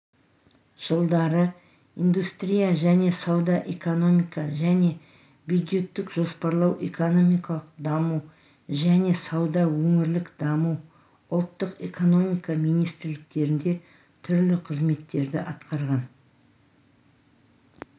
жылдары индустрия және сауда экономика және бюджеттік жоспарлау экономикалық даму және сауда өңірлік даму ұлттық экономика министрліктерінде түрлі қызметтерді атқарған